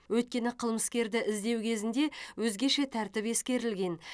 өйткені қылмыскерді іздеу кезінде өзгеше тәртіп ескерілген